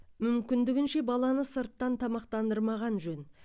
мүмкіндігінше баланы сырттан тамақтандырмаған жөн